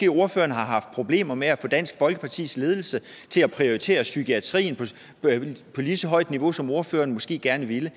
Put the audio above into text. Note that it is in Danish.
ordføreren har haft problemer med at få dansk folkepartis ledelse til at prioritere psykiatrien på lige så højt et niveau som ordføreren måske gerne ville